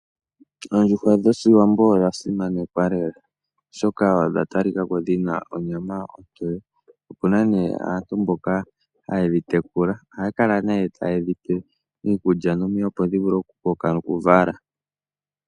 Oondjuhwa dhoshiwambo odha simanekwa lela oshoka odha talikako dhina onyama ontoye. Opuna nee aantu mboka hayedhi tekula ohaya kala nee tayedhi pe iikulya nomeya opo dhi vule okukoka noku vala.